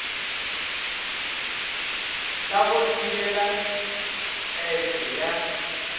la go thibela pese ya